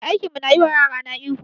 Mai aikin mu na yi wa yarana ihu